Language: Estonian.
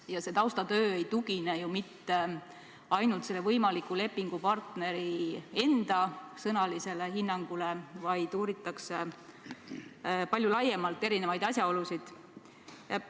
Ja see taustatöö ei tugine mitte ainult selle võimaliku lepingupartneri enda sõnalisele hinnangule, vaid uuritakse palju laiemalt erinevaid asjaolusid.